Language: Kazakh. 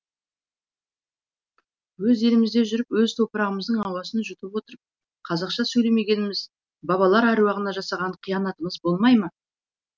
өз елімізде жүріп өз топрағымыздың ауасын жұтып отырып қазақша сөйлемегеніміз бабаалар әруағына жасаған қиянатымыз болмай ма